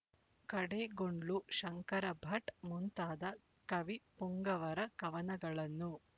ಕಡೆಗೊಂಡ್ಲು ಶಂಕರಭಟ್ ಮುಂತಾದ ಕವಿ ಪುಂಗವರ ಕವನಗಳನ್ನು